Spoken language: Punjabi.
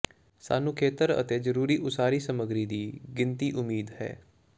ਸਾਨੂੰ ਖੇਤਰ ਅਤੇ ਜ਼ਰੂਰੀ ਉਸਾਰੀ ਸਮੱਗਰੀ ਦੀ ਗਿਣਤੀ ਉਮੀਦ ਹੈ